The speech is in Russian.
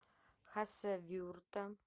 хасавюрта